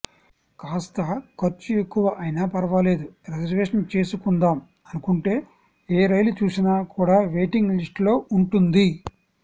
కాస్త ఖర్చు ఎక్కువ అయినా పర్వాలేదు రిజర్వేషన్ చేసుకుందాం అనుకుంటే ఏ రైలు చూసినా కూడా వెయిటింగ్ లిస్ట్లో ఉంటుంది